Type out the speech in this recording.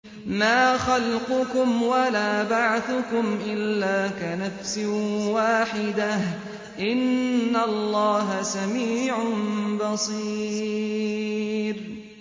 مَّا خَلْقُكُمْ وَلَا بَعْثُكُمْ إِلَّا كَنَفْسٍ وَاحِدَةٍ ۗ إِنَّ اللَّهَ سَمِيعٌ بَصِيرٌ